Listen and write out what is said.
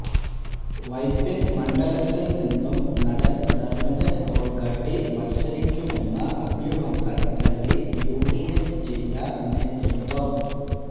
വൈപ്പിന് മണ്ഡലത്തില് നിന്നും നടന് ധര്മജന് ബോള്ഗാട്ടി മത്സരിക്കുമെന്ന അഭ്യൂഹങ്ങള് തള്ളി യുഡിഎഫ് ജില്ലാ നേതൃത്വം